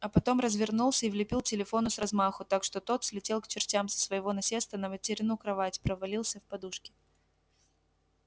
а потом развернулся и влепил телефону с размаху так что тот слетел к чертям со своего насеста на материну кровать провалился в подушки